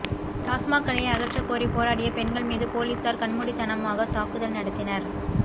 டாஸ்மாக் கடையை அகற்றக்கோரி போராடிய பெண்கள் மீது போலீசார் கண்மூடித்தனமாக தாக்குதல் நடத்தினர்